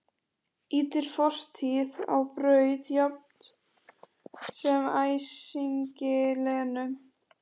Ýtir fortíð á braut jafnt sem æsingi Lenu.